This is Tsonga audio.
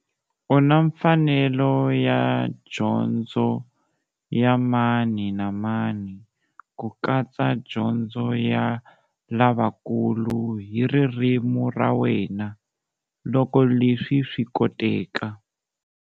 U na mfanelo ya dyondzo ya mani na mani, ku katsa dyondzo ya lavakulu, hi ririmi ra wena, loko leswi swi koteka.